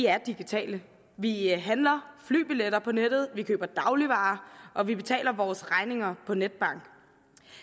er digitale vi handler flybilletter på nettet vi køber dagligvarer og vi betaler vores regninger på netbank